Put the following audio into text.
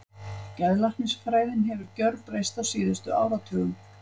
Geðlæknisfræðin hefur gjörbreyst á síðustu áratugum.